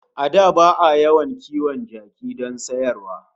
A da ba'a yawan kiwon kaji don sayarwa